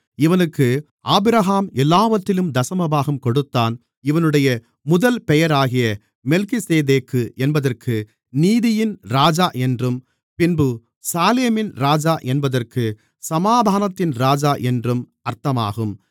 இவனுக்கு ஆபிரகாம் எல்லாவற்றிலும் தசமபாகம் கொடுத்தான் இவனுடைய முதல் பெயராகிய மெல்கிசேதேக்கு என்பதற்கு நீதியின் ராஜா என்றும் பின்பு சாலேமின் ராஜா என்பதற்கு சமாதானத்தின் ராஜா என்றும் அர்த்தமாகும்